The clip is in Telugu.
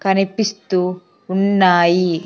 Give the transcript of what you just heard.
కనిపిస్తూ ఉన్నాయి.